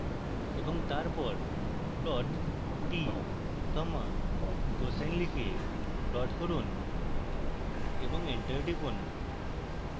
এবং তারপর plot t comma cosine লিখে plot করুন এবং enter টিপুন